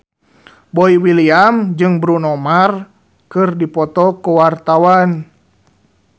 Boy William jeung Bruno Mars keur dipoto ku wartawan